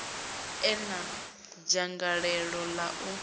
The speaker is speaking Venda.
e na dzangalelo ḽa u